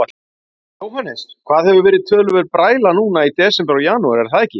Jóhannes: Það hefur verið töluverð bræla núna í desember og janúar, er það ekki?